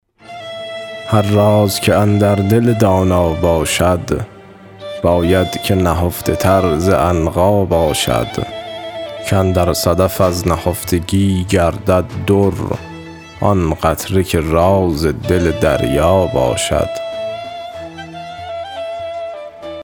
هر راز که اندر دل دانا باشد باید که نهفته تر ز عنقا باشد کاندر صدف از نهفتگی گردد در آن قطره که راز دل دریا باشد